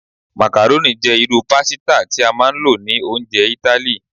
Macaroni jẹ iru pasita ti a maa n lo ni ounjẹ Itali